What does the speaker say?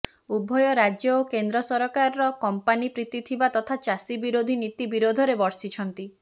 ଉଭୟ ରାଜ୍ୟ ଓ କେନ୍ଦ୍ର ସରକାରର କମ୍ପାନି ପ୍ରୀତି ତଥା ଚାଷୀ ବିରୋଧୀ ନୀତି ବିରୋଧରେ ବର୍ଷିଛନ୍ତି